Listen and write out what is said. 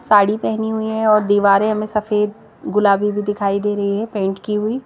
साड़ी पहनी हुई है और दीवारें हमें सफेद गुलाबी भी दिखाई दे रही है पेंट की हुई।